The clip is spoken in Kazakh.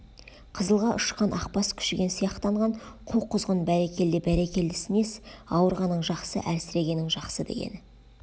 қызылға ұшқан ақ бас күшіген сияқтанған қу құзғын бәрекелде бәрекелдесі несі ауырғаның жақсы әлсірегенің жақсы дегені